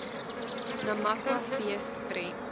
namakwa fees prent